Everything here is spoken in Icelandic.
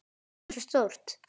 Hversu stórt?